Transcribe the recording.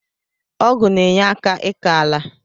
Ọgụ na enyeka ịkọ ala.